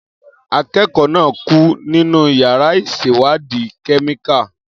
Akẹ́kọ̀ọ́ náà kú nínú yàrá ìṣèwádìí kẹ́míkà.